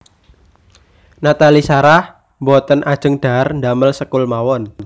Nathalie Sarah mboten ajeng dhahar ndamel sekul mawon